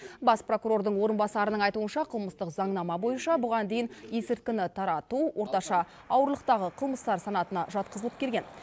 бас прокурордың орынбасарының айтуынша қылмыстық заңнама бойынша бұған дейін есірткіні тарату орташа ауырлықтағы қылмыстар санатына жатқызылып келген